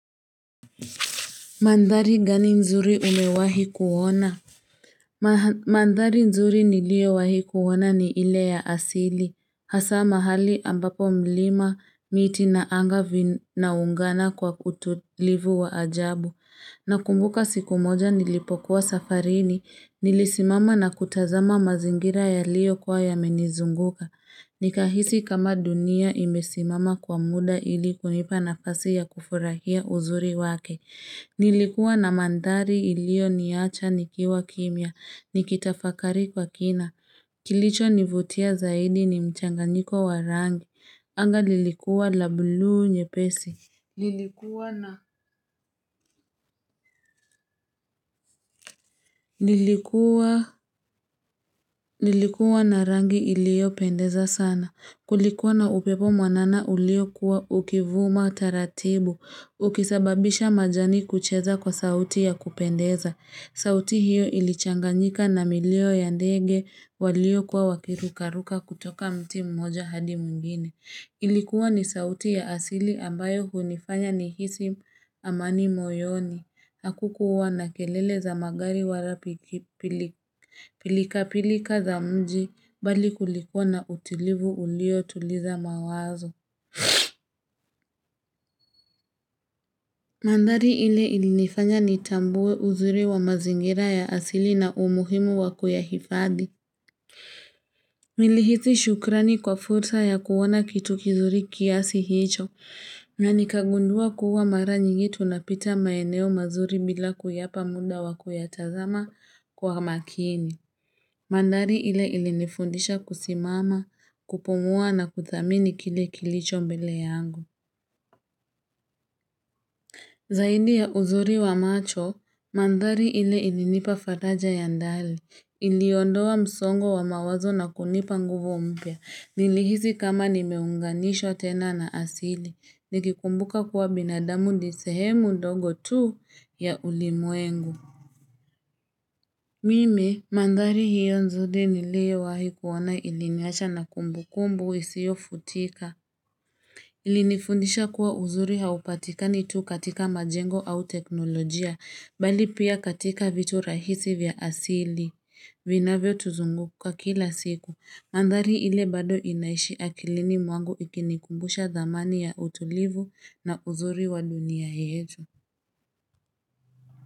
Mandhari gani nzuri umewahi kuona? Mandhari nzuri niliowahi kuona ni ile ya asili. Hasa mahali ambapo mlima miti na anga vinaungana kwa utulivu wa ajabu. Nakumbuka siku moja nilipokuwa safarini. Nilisimama na kutazama mazingira yaliyo kuwa yamenizunguka. Nikahisi kama dunia imesimama kwa muda ili kunipa nafasi ya kufurahia uzuri wake. Nilikuwa na mandhari iliyoniacha nikiwa kimya. Nikitafakari kwa kina. Kilicho nivutia zaidi ni mchanganyiko wa rangi. Anga lilikuwa la bluu nyepesi. Lilikuwa na rangi iliopendeza sana. Kulikuwa na upepo mwanana ulio kuwa ukivuma taratibu. Ukisababisha majani kucheza kwa sauti ya kupendeza. Sauti hiyo ilichanganyika na milio ya ndege walio kuwa wakirukaruka kutoka mti mmoja hadi mwingine. Ilikuwa ni sauti ya asili ambayo hunifanya nihisi amani moyoni. Hakukuwa na kelele za magari wala pilika pilika za mji bali kulikuwa na utilivu ulio tuliza mawazo. Mandhari ile ilinifanya nitambue uzuri wa mazingira ya asili na umuhimu wa kuyahifadhi. Nilihisi shukrani kwa fursa ya kuona kitu kizuri kiasi hicho na nikagundua kuwa mara nyingi tunapita maeneo mazuri bila kuyapa muda wa kuyatazama kwa makini. Mandhari ile ilinifundisha kusimama, kupumua na kuthamini kile kilicho mbele yangu. Zaidi ya uzuri wa macho, mandhari ile ilinipa faraja ya ndani. Iliondoa msongo wa mawazo na kunipa nguvu mpya. Nilihisi kama nimeunganishwa tena na asili. Nikikumbuka kuwa binadamu ni sehemu ndogo tu ya ulimwengu. Mimi, mandhari hiyo nzuri niliyowahi kuona iliniacha na kumbu kumbu isiyo futika. Ilinifundisha kuwa uzuri haupatikani tu katika majengo au teknolojia bali pia katika vitu rahisi vya asili vinavyo tuzunguka kila siku mandhari ile bado inaishi akilini mwangu ikinikumbusha dhamani ya utulivu na uzuri wa dunia yetu.